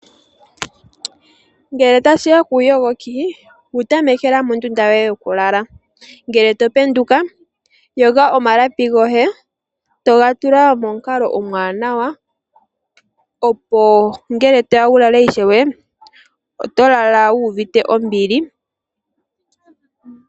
Ngele tashiya kuuyogoki wutamekela mondunda yoye yoku lala, ngele topenduka yoga omalapi goye etoga yala pamukalo omwanawa opo ngele toya wu lale ishewe oto lala wu uvite ombili.